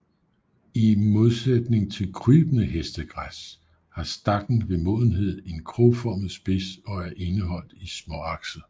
I modsætning til krybende hestegræs har stakken ved modenhed en krogformet spids og er indeholdt i småakset